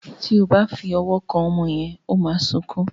Tí o bá fí òwò kán ọmọ yén o má sọkún.